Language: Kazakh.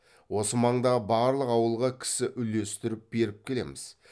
осы маңдағы барлық ауылға кісі үлестіріп беріп келеміз